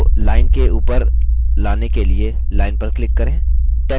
text को line के ऊपर लाने के लिए line पर click करें